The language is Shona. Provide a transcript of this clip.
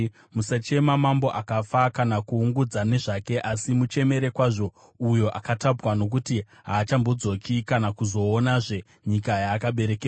Musachema mambo akafa kana kuungudza nezvake; asi muchemere kwazvo uyo akatapwa, nokuti haachambodzoki kana kuzoonazve nyika yaakaberekerwa.